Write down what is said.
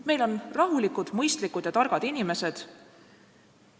Meil on rahulikud, mõistlikud ja targad inimesed.